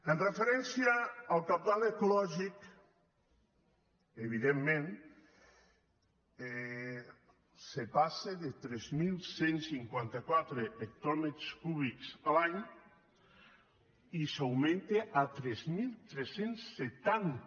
amb referència al cabal ecològic evidentment se passa de tres mil cent i cinquanta quatre hectòmetres cúbics l’any i s’augmenta a tres mil tres cents i setanta